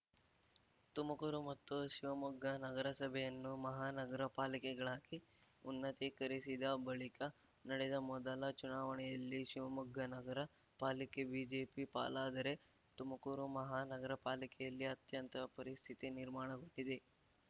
ತುಮಕೂರು ಮತ್ತು ಶಿವಮೊಗ್ಗ ನಗರಸಭೆಯನ್ನು ಮಹಾನಗರ ಪಾಲಿಕೆಗಳಾಗಿ ಉನ್ನತೀಕರಿಸಿದ ಬಳಿಕ ನಡೆದ ಮೊದಲ ಚುನಾವಣೆಯಲ್ಲಿ ಶಿವಮೊಗ್ಗ ನಗರ ಪಾಲಿಕೆ ಬಿಜೆಪಿ ಪಾಲಾದರೆ ತುಮಕೂರು ಮಹಾನಗರ ಪಾಲಿಕೆಯಲ್ಲಿ ಅತ್ಯಂತ ಪರಿಸ್ಥಿತಿ ನಿರ್ಮಾಣಗೊಂಡಿದೆ